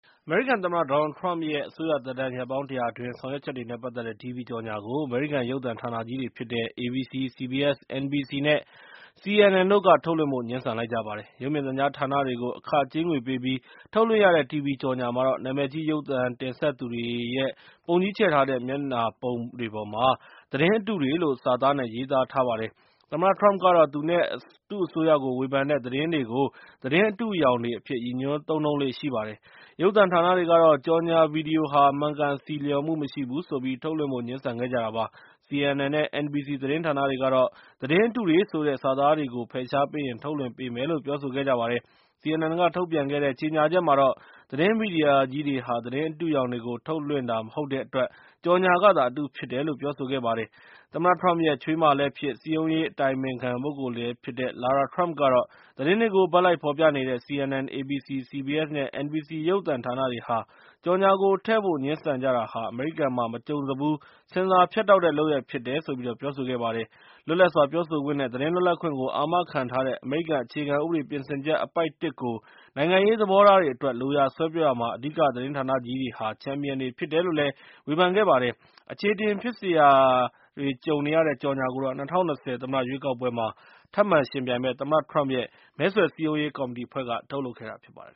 အမေရိကန်သမ္မတ Donald Trump ရဲ့ အစိုးရသက်တမ်း ရက်ပေါင်း ၁၀၀ အတွင်း ဆောင်ရွက်ချက်တွေနဲ့ ပတ်သက်တဲ့ တီဗွီကြော်ငြာကို အမေရိကန် ရုပ်သံဌာနကြီးတွေဖြစ်ကြတဲ့ ABC, CBS, NBC နဲ့ CNN တို့က ထုတ်လွှင့်ဖို့ ငြင်းဆန်လိုက်ကြပါတယ်။ ရုပ်မြင်သံကြား ဌာနတွေကို အခကြေးငွေပေးပြီး ထုတ်လွှင့်ရတဲ့ တီဗွီကြော်ငြာမှာတော့ နာမည်ကြီး ရုပ်သံတင်ဆက်သူတွေရဲ့ ပုံကြီးချဲ့ထားတဲ့ မျက်နှာပုံတွေပေါ်မှာ သတင်းအတုတွေလို စာသားနဲ့ ရေးသားထားပါတယ်။ သမ္မတ Trump ကတော့ သူနဲ့ သူ့အစိုးရကို ဝေဖန်တဲ့ သတင်းတွေကို သတင်းအတုအယောင်တွေအဖြစ် ရည်ညွှန်းသုံးနှုန်းလေ့ ရှိပါတယ်။ ရုပ်သံဌာနတွေကတော့ ကြော်ငြာဗွီဒီယိုဟာ မှန်ကန်ဆီလျော်မှု မရှိဘူးဆိုပြီး ထုတ်လွှင့်ဖို့ ငြင်းဆန်ခဲ့ကြတာပါ။ CNN နဲ့ NBC သတင်းဌာနတွေကတော့ သတင်းအတုတွေဆိုတဲ့ စာသားတွေကို ဖယ်ရှားပေးရင် ထုတ်လွှင့်ပေးမယ်လို့ ပြောဆိုခဲ့ကြပါတယ်။ CNN က ထုတ်ပြန်ခဲ့တဲ့ ကြေညာချက်မှာတော့ သတင်းမီဒီယာကြီးတွေဟာ သတင်းအတုအယောင်တွေကို ထုတ်လွှင့်တာ မဟုတ်တဲ့အတွက်၊ ကြော်ငြာကသာ အတုဖြစ်တယ်လို့ ပြောဆိုခဲ့တာပါ။ သမ္မတ Trump ရဲ့ ချွေးမလည်းဖြစ် စည်းရုံးရေးအတိုင်ပင်ခံ ပုဂ္ဂိုလ်လည်းဖြစ်တဲ့ Lara Trump ကတော့ သတင်းတွေကို ဘက်လိုက် ဖော်ပြနေတဲ့ CNN, ABC, CBS နဲ့ NBC ရုပ်သံဌာနတွေဟာ ကြော်ငြာကို ထည့်ဖို့ ငြင်းဆန်တာဟာ၊ အမေရိကန်မှာ မကြုံစဖူး ဆင်ဆာဖြတ်တောက်တဲ့ လုပ်ရပ်ဖြစ်ကြောင်း ပြောဆိုခဲ့ပါတယ်။ လွတ်လပ်စွာ ပြောဆိုခွင့်နဲ့ သတင်းလွတ်လပ်ခွင့်ကို အာမခံထားတဲ့ အမေရိကန် အခြေခံဥပဒေ ပြင်ဆင်ချက် အပိုဒ် ၁ ကို နိုင်ငံရေး သဘောထားတွေအတွက် လိုရာဆွဲပြောရာမှာ အဓိက သတင်းဌာနကြီးတွေဟာ ချန်ပီယံတွေ ဖြစ်တယ်လို့လည်း ဝေဖန်ခဲ့တာပါ။ အခြေအတင်ဖြစ်စရာတွေ ကြုံနေရတဲ့ ကြော်ငြာကိုတော့ ၂၀၂၀ သမ္မတ ရွေးကောက်ပွဲတွေမှာ ထပ်မံယှဉ်ပြိုင်မယ့် သမ္မတ Trump ရဲ့ မဲဆွယ်စည်းရုံးရေး ကော်မတီအဖွဲ့က ထုတ်လုပ်ခဲ့တာ ဖြစ်ပါတယ်